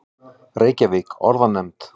Reykjavík: Orðanefnd.